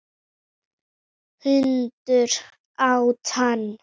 Hundur át hann.